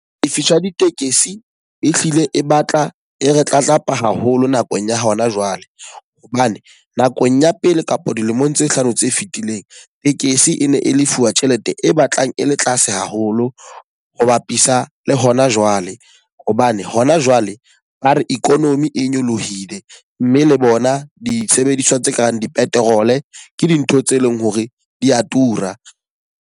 E fihla ditekesi e hlile e batla e re tlatlapa haholo nakong ya hona jwale. Hobane nakong ya pele kapa dilemong tse hlano tse fetileng, tekesi e ne e lefuwa tjhelete e batlang e le tlase haholo ho bapisa le hona jwale. Hobane hona jwale ba re economy e nyolohile mme le bona disebediswa tse kareng di-petrol e ke dintho tse leng hore di a tura.